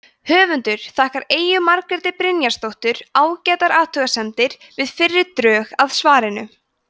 höfundur þakkar eyju margréti brynjarsdóttur ágætar athugasemdir við fyrri drög að svarinu